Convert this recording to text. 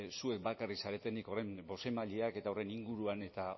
zuek bakarrik zaretenik horren bozeramaileak eta horren inguruan eta